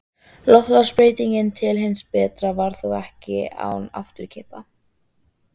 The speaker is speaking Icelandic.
Loftslagsbreytingin til hins betra varð þó ekki án afturkippa.